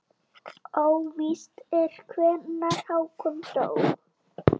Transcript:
Óvíst er hvenær Hákon dó.